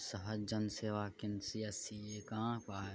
सहज जन सेवा केंद्र सी.एस.सी. ये कहाँ पर --